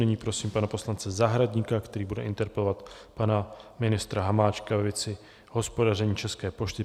Nyní prosím pana poslance Zahradníka, který bude interpelovat pana ministra Hamáčka ve věci hospodaření České pošty.